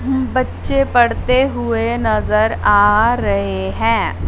बच्चे पढ़ते हुए नजर आ रहे हैं।